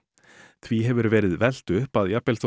því hefur verið velt upp að jafnvel þótt